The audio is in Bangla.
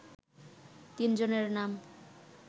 তিন জনের নাম